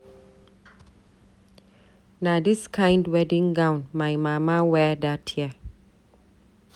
Na dis kind wedding gown my mama wear dat year.